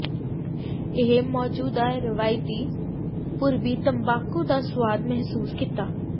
ਇਹ ਮੌਜੂਦਾ ਰਵਾਇਤੀ ਪੂਰਬੀ ਤੰਬਾਕੂ ਦਾ ਸੁਆਦ ਮਹਿਸੂਸ ਕੀਤਾ